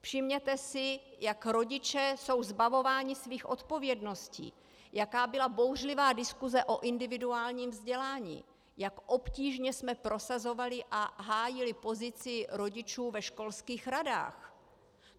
Všimněte si, jak rodiče jsou zbavováni svých odpovědností, jaká byla bouřlivá diskuse o individuálním vzdělání, jak obtížně jsme prosazovali a hájili pozici rodičů ve školských radách.